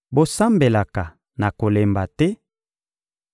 bosambelaka na kolemba te;